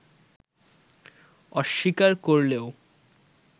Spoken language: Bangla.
অস্বীকার করলেও